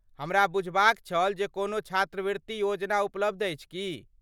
हमरा बूझबाक छल जे कोनो छात्रवृत्ति योजना उपलब्ध अछि की?